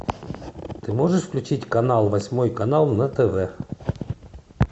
ты можешь включить канал восьмой канал на тв